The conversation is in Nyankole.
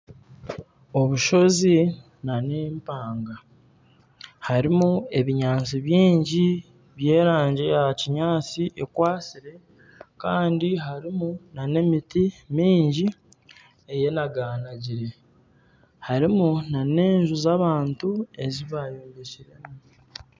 Obushozi nana empanga harimu ebinyaatsi bingi, by'erangi ya kinyaatsi ekwatsire kandi harimu nana emiti mingi eyenaganagire harimu nana enju z'abantu ezi baayombekiremu